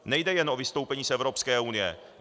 Nejde jen o vystoupení z Evropské unie.